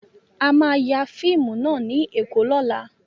A máa ya fíìmù náà ní Èkó lọ́la.